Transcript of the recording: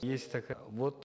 есть вот